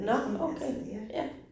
Nåh okay, ja